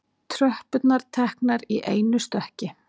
Tröppurnar teknar í einu stökki.